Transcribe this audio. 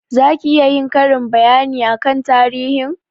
Za ki iya yin karin bayani akan tarihin?